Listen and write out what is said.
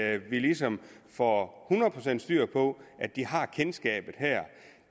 at vi ligesom får hundrede procent styr på at de har kendskabet her